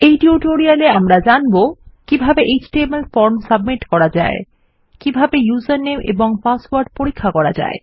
এই টিউটোরিয়াল এ আমরা পিএচপি বিষয়ক কিছু বিষয় জানব কিভাবে এচটিএমএল ফর্ম সাবমিট করা যায় এবং কিভাবে উসের নামে এবং পাসওয়ার্ড পরীক্ষা করা যায়